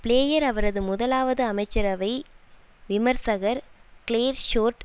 player அவரது முதலாவது அமைச்சரவை விமர்சகர் கிளேர் ஷோர்ட்